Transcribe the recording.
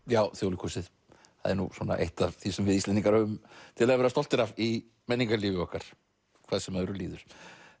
já Þjóðleikhúsið það er nú svona eitt af því sem við Íslendingar höfum til að vera stoltir af í menningarlífi okkar hvað sem öðru líður